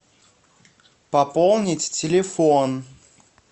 пополнить телефон